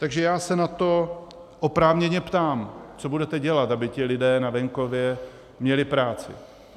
Takže já se na to oprávněně ptám, co budete dělat, aby ti lidé na venkově měli práci.